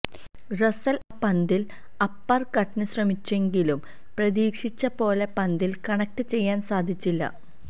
Russell ആ പന്തിൽ upper കട്ടിന്ശ്രമിച്ചെങ്കിലും പ്രതീക്ഷിച്ച പോലെ പന്തിൽ കണക്ട് ചെയ്യാൻ സാധിച്ചില്ല